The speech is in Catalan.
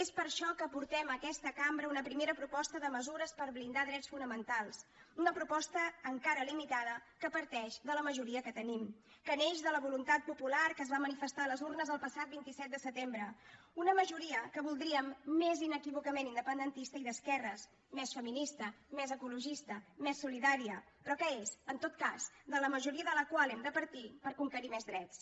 és per això que aportem a aquesta cambra una primera proposta de mesures per blindar drets fonamentals una proposta encara limitada que parteix de la majoria que tenim que neix de la voluntat popular que es va manifestar a les urnes el passat vint set de setembre una majoria que voldríem més inequívocament independentista i d’esquerres més feminista més ecologista més solidària però que és en tot cas la majoria de la qual hem de partir per conquerir més drets